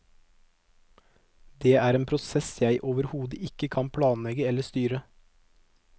Det er en prosess jeg overhodet ikke kan planlegge eller styre.